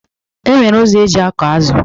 E nwere ụzọ eji akọ azụ